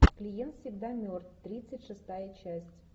клиент всегда мертв тридцать шестая часть